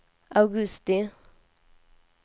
augusti